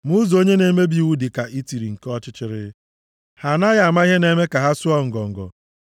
Ma ụzọ onye na-emebi iwu dị ka itiri nke ọchịchịrị, ha anaghị ama ihe na-eme ka ha sụọ ngọngọ.